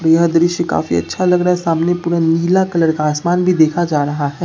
यह दृष्टि काफी अच्छा लग रहा है सामने पूरा नीला कलर का आसमान भी देखा जा रहा है।